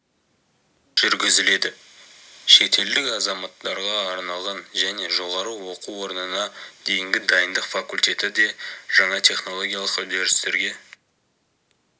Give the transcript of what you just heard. жүргізіледі шетелдік азаматтарға арналған және жоғарғы оқу орнына дейінгі дайындық факультеті де жаңа технологиялық үдерістерге